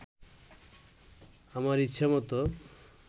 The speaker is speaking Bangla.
আমার ইচ্ছামত